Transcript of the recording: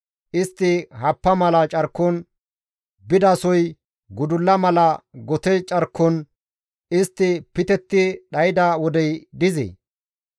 Istti happa mala carkon bidasoy gudulla mala gote carkon istti pitetti dhayda wodey dizee?